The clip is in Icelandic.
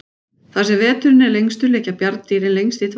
Þar sem veturinn er lengstur liggja bjarndýrin lengst í dvala.